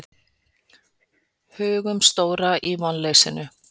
Hugumstóra í vonleysinu.